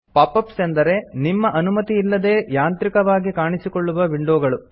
pop ups ಅಂದರೆ ನಿಮ್ಮ ಅನುಮತಿ ಇಲ್ಲದೇ ಯಾಂತ್ರಿಕವಾಗಿ ಕಾಣಿಸಿಕೊಳ್ಳುವ ವಿಂಡೊಗಳು